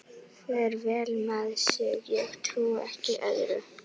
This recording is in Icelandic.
Gígí, stilltu tímamælinn á tíu mínútur.